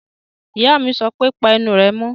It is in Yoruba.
Ìyá mi sọ pé, Pa ẹnu rẹ mọ́!